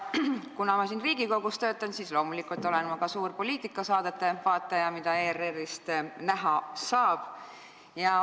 Kuna ma töötan Riigikogus, siis loomulikult olen ma ka suur nende poliitikasaadete vaataja, mida ERR-ist näha saab.